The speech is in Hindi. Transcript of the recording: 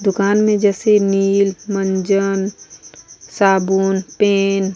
दुकान में जैसे नील मंजन साबुन पेन --